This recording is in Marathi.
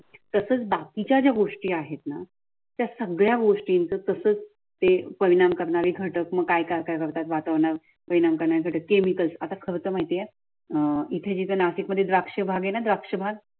तसेच बाकीच्या गोष्टी आहेत ना त्या सगळ्या गोष्टींचा तसंच ते परिणाम करणारे घटक काय काय करतात वातावरण केमिकलचा खर्च माहितीये आहे अह इथे नाशिकमध्ये द्राक्ष बागआहे न द्राक्ष बाग